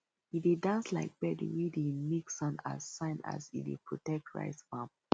e dey dance like bird wey dey make sound as sign say e dey protect rice farm